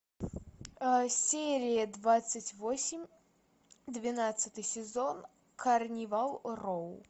серия двадцать восемь двенадцатый сезон карнивал роу